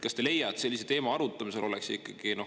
Kas te ei leia, et sellise teema arutamisel oleks